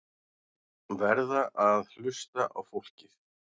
Verða að hlusta á fólkið